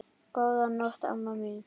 Góða nótt, amma mín.